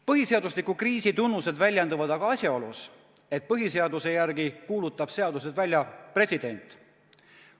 Põhiseadusliku kriisi tunnused väljenduvad aga asjaolus, et põhiseaduse järgi kuulutab seadused välja president.